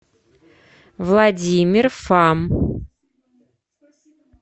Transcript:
владимир фам